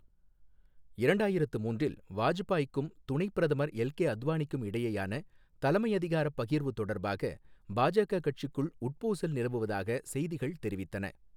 இரண்டாயிரத்து மூன்றில், வாஜ்பாயிக்கும் துணைப் பிரதமர் எல்கே அத்வானிக்கும் இடையேயான தலைமையதிகாரப் பகிர்வு தொடர்பாக பாஜக கட்சிக்குள் உட்பூசல் நிலவுவதாக செய்திகள் தெரிவித்தன.